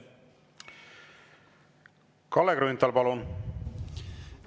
Kalle Grünthal, palun!